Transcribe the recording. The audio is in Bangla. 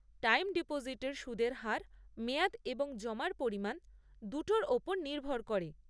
টাইম ডিপোজিটের সুদের হার মেয়াদ এবং জমার পরিমাণ দুটোর ওপর নির্ভর করে।